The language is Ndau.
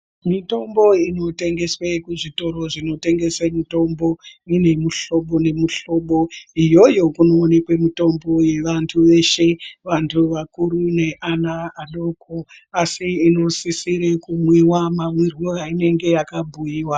Mitombo inotengeswe kuzvitoro zvinotengese mitombo ine muhlobo nemuhlobo iyoyo kunooneke mitombo yevantu veshe vantu vakuru neana adoko asi inosisire kumwiwa mamwirwe ainenge yakabhuyiwa.